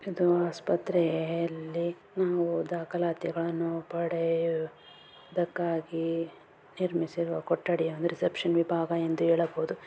ಇದು ಆಸ್ಪತ್ತ್ರೆಯಲ್ಲಿ ನಾವು ದಾಖಲಾತಿಗಳನ್ನು ಪಡೆಯುವುದಕ್ಕಾಗಿ ನಿರ್ಸಮಿಸಿರುವ ಕೊಠಡಿ ಅಂದ್ರೆ ರಿಸೆಪ್ಷನ್ ವಿಭಾಗ ಎಂದು ಹೇಳಬಹುದು.